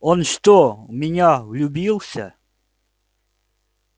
он что в меня влюбился